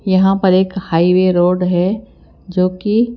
यहां पर एक हाईवे रोड है जो कि--